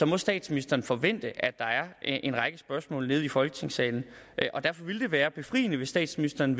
må statsministeren forvente at der er en række spørgsmål i folketingssalen derfor ville det være befriende hvis statsministeren